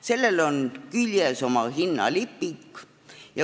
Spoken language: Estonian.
Sellel on küljes oma hinnalipik.